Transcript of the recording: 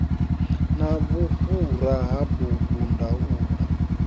na vhufhura ha bugu ndaula